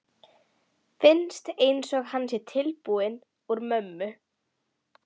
Finnst einsog hann sé tilbúningur úr mömmu.